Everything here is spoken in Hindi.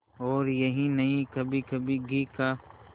और यही नहीं कभीकभी घी का